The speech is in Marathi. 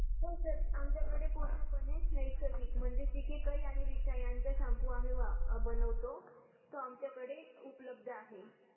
हो सर आमच्या कडे पूर्ण पणे नैसर्गिक म्हणजे शिकेकई आणि रिठा यांच्या शॅम्पू आम्ही बनवतो तो आमच्या कडे उपलब्ध आहे